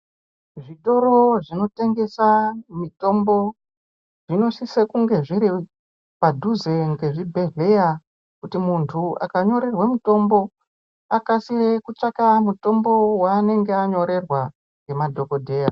Zvitoro zvinotengesa mitombo zvinosise kunge zviri padhuze ngezvibhedhleya kuti muntu akanyorerwe mutombo akasire kutsvaka mutombo wanenge anyorerwa ngemadhokodheya.